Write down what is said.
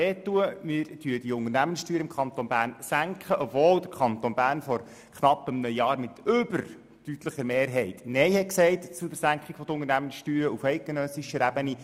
Wir senken die Unternehmenssteuern, obwohl der Kanton Bern vor knapp einem Jahr mit überdeutlicher Mehrheit Nein gesagt hat zu einer Senkung der Unternehmenssteuer auf eidgenössischer Ebene.